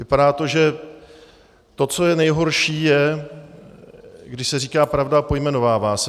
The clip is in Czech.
Vypadá to, že to, co je nejhorší, je, když se říká pravda a pojmenovává se.